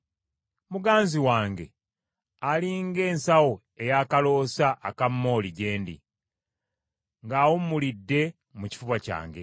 Muganzi wange ali ng’ensawo eya kaloosa aka mooli gye ndi, ng’awummulidde mu kifuba kyange.